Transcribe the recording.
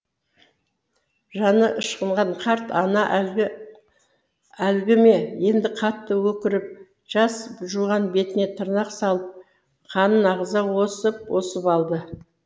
жаны ышқынған қарт ана әлгі әлгі ме енді қатты өкіріп жас жуған бетіне тырнақ салып қанын ағыза осып осып алды